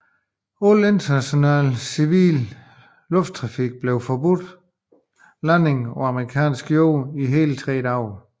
Al international civil lufttrafik blev forbudt landing på amerikansk jord i hele tre dage